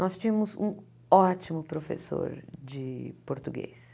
Nós tínhamos um ótimo professor de português.